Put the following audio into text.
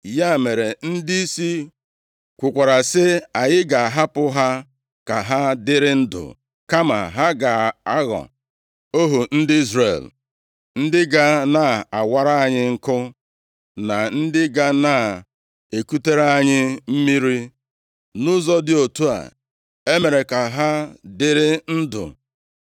Ya mere, ndịisi kwukwara sị, “Anyị ga-ahapụ ha ka ha dịrị ndụ, kama ha ga-aghọ ohu ndị Izrel, ndị ga na-awara anyị nkụ na ndị ga na-ekutere anyị mmiri.” Nʼụzọ dị otu a, e mere ka ha dịrị ndụ.